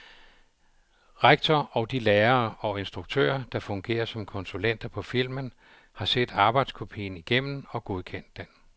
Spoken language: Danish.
Rektor og de lærere og instruktører, der fungerer som konsulenter på filmen, har set arbejdskopien igennem og godkendt den.